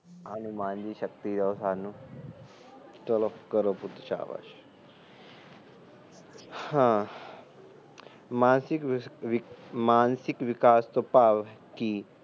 ਹਨੂੰਮਾਨ ਜੀ ਸ਼ਕਤੀ ਦੋ ਸਾਨੂੰ ਚਲੋ ਕਰੋ ਸ਼ੁਰੂ ਹਾ ਮਾਨਸਿਕ ਵਿਕਾਸ ਤੋ ਭਾਵ ਕੀ